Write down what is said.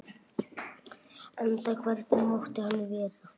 Enda hvernig mátti annað vera?